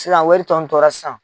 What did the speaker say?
Sisan wari tɔ in tora sisan.